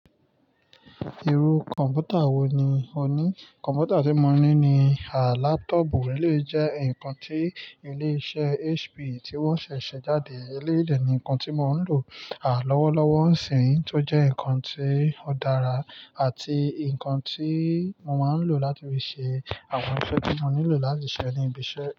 Irú kọ̀m̀pútà wò ní ọ ní? Kọ̀m̀pútà tí mo ní ni à lápútọ̀pù, èléyìí jẹ́ ǹkan tí ilé iṣẹ́ HP tí wọ́n ṣẹ̀ ṣe jáde, èléyìí dẹ ni ǹkan tí mò ń lò à lọ́wọ́lọ́wọ́ ń sìnyí tó jẹ́ ǹkan tí ó dára àti ǹkan tí mo máa ń lò láti fi ṣe àwọn iṣẹ́ tí mo nílò láti ṣe ní ibi iṣẹ́.